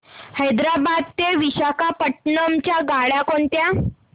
हैदराबाद ते विशाखापट्ण्णम च्या गाड्या कोणत्या